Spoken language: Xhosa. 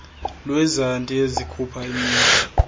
lwezandi ezikhupha imitha